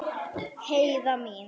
Heiða mín.